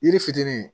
Yiri fitinin